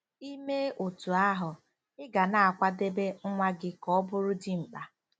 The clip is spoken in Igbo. I mee otú ahụ, ị ga na-akwadebe nwa gị ka ọ bụrụ dimkpa.